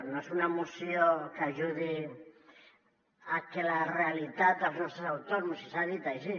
no és una moció que ajudi a que la realitat dels nostres autònoms i s’ha dit així